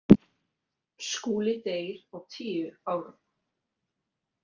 Skúli deyr á tíu árum.